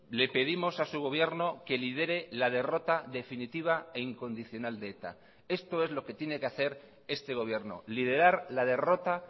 le pedimos a su gobierno que lidere la derrota definitiva e incondicional de eta esto es lo que tiene que hacer este gobierno liderar la derrota